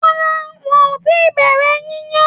Rárá, wọn ò tí bẹ̀rẹ̀ yíya